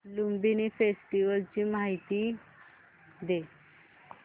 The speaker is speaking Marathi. लुंबिनी फेस्टिवल ची मला माहिती दे